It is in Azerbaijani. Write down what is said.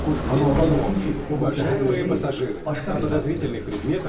Amma ola bilsin ki, onu zəhərlə deyil, başqa bir vasitə ilə öldürmüşdü.